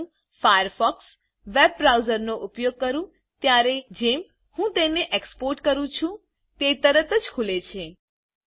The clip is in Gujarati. જેમ હું ફાયરફોકસ વેબબ્રાઉજરનો ઉપયોગ કરું ત્યારેજેમ હું તેને એક્સપોર્ટ કરું છુ તે તરત જ ખુલે છે